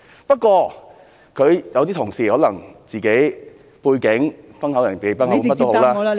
不過，有些同事可能因為自己的背景，"崩口人忌崩口碗"，甚麼也好......